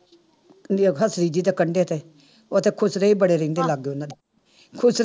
ਕੰਡੇ ਤੇ ਉੱਥੇ ਖੁਸਰੇ ਹੀ ਬੜੇ ਰਹਿੰਦੇ ਲਾਗੇ ਉਹਨਾਂ ਦੇ ਖੁਸਰੇ